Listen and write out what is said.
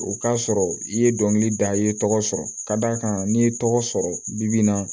O k'a sɔrɔ i ye dɔnkili da i ye tɔgɔ sɔrɔ ka d'a kan n'i ye tɔgɔ sɔrɔ bi bi in na